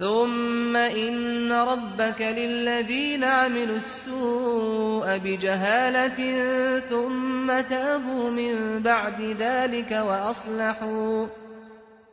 ثُمَّ إِنَّ رَبَّكَ لِلَّذِينَ عَمِلُوا السُّوءَ بِجَهَالَةٍ ثُمَّ تَابُوا مِن بَعْدِ ذَٰلِكَ وَأَصْلَحُوا